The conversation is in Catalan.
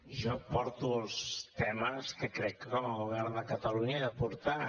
jo porto els temes que crec que com a govern de catalunya he de portar